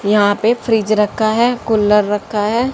यहां पे फ्रिज रखा है कुलर रखा है।